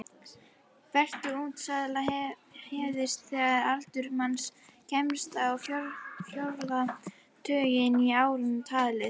Fertugsaldur hefst þegar aldur manns kemst á fjórða tuginn í árum talið.